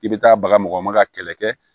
I bɛ taa bagama ka kɛlɛ kɛ